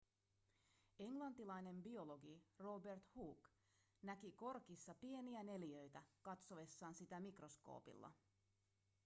englantilainen biologi robert hooke näki korkissa pieniä neliöitä katsoessaan sitä mikroskoopilla